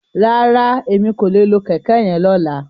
Rárá, Emi ko le lo kẹkẹ yen lola.